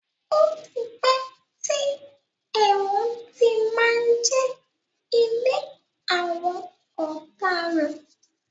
Ó ti pẹ́ tí ẹ̀wọ̀n ti má ń jẹ́ ilé àwọn ọ̀daràn.